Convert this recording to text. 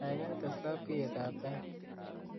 kaigai tes labkeiyet ata tait